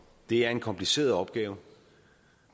det er en kompliceret opgave